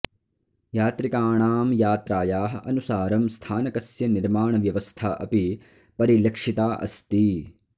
यात्रिकाणां यात्रायाः अनुसारं स्थानकस्य निर्माणव्यवस्था अपि परिलक्षिता अस्ति